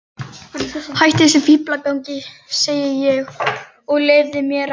Hættu þessum fíflagangi, segi ég, og leyfðu mér að.